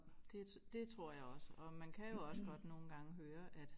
Det det tror jeg også og man kan jo også godt nogle gange høre at